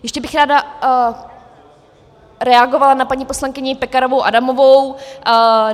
Ještě bych ráda reagovala na paní poslankyni Pekarovou Adamovou.